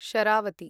Sharavati